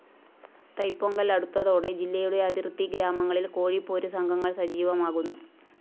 തൈപൊങ്കല്‍ അടുത്തതോടെ ജില്ലയുടെ അതിര്‍ത്തി ഗ്രാമങ്ങളില്‍ കോഴിപ്പോര് സംഘങ്ങള്‍ സജീവമാകുന്നു